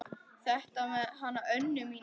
Þetta með hana Önnu mína.